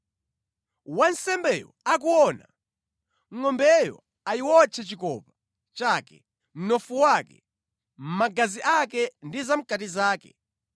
Wansembeyo akuona, ngʼombeyo ayiwotche ­­chikopa chake, mnofu wake, magazi ake ndi zamʼkati zake.